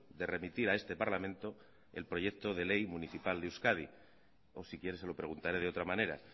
de remitir a este parlamento el proyecto de ley municipal de euskadi o si quiere se lo preguntaré de otra manera